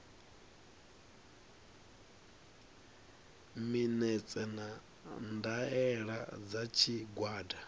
minetse na ndaela dza tshigwada